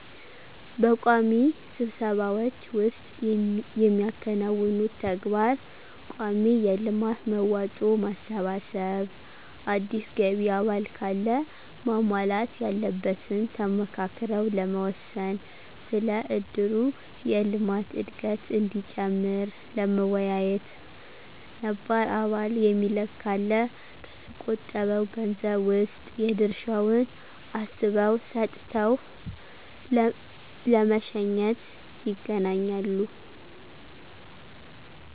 በቋሚ ስብሰባዎች ዉስጥ የሚያከናውኑት ተግባር :ቋሚ የልማት መዋጮ ማሰባሰብ፣ አዲስ ገቢ አባል ካለ ማሟላት ያለበትን ተመካክረው ለመወሰን፣ ስለ እድሩ የልማት እድገት እዲጨምር ለመወያየት፣ ነባር አባል የሚለቅ ካለ ከተቆጠበዉ ገንዘብ ዉስጥ የድርሻዉን አስበው ሰጥተው ለመሸኘት ___ይገናኛሉ።